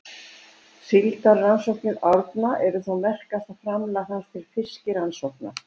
Síldarrannsóknir Árna eru þó merkasta framlag hans til fiskirannsókna.